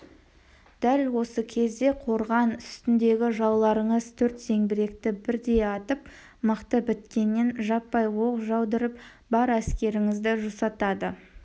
дәл осы кезде қорған үстіндегі жауларыңыз төрт зеңбіректі бірдей атып мылтық біткеннен жаппай оқ жаудырып бар әскеріңізді жусатады